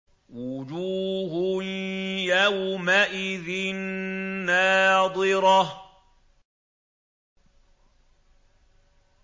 وُجُوهٌ يَوْمَئِذٍ نَّاضِرَةٌ